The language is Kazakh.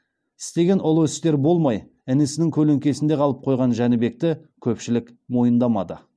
істеген ұлы істері болмай інісінің көлеңкесінде қалып қойған жәнібекті көпшілік мойындамады